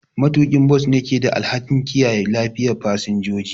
Matuƙin bas ne ke da alhakin kiyaye lafiyar fasinjoji.